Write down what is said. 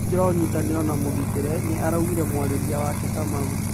Kajũra wa ũnyitanĩro ni mũgitĩre, nĩ araungire mũarĩrĩria wake Kamau.